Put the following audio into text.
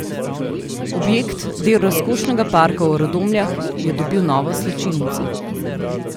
Objekt, del razkošnega parka v Radomljah, je dobil novo slačilnico.